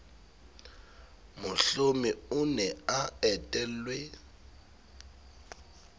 mohlomi o ne a etelwe